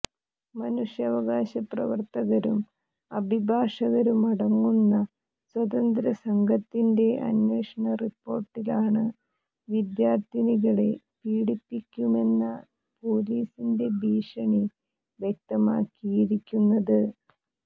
മനുഷ്യാവകാശ പ്രവർത്തകരും അഭിഭാഷകരും അടങ്ങുന്ന സ്വതന്ത്ര സംഘത്തിന്റെ അന്വേഷണ റിപ്പോർട്ടിലാണ് വിദ്യാർഥിനികളെ പീഡിപ്പിക്കുമെന്ന പൊലീസിന്റെ ഭീഷണി വ്യക്തമാക്കിയിരിക്കുന്നത്